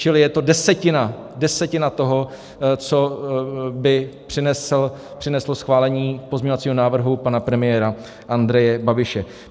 Čili je to desetina - desetina toho, co by přineslo schválení pozměňovacího návrhu pana premiéra Andreje Babiše.